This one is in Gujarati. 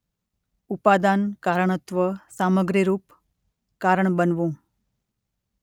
ઉપાદાન કારણત્વ - સામગ્રીરૂપ કારણ બનવું.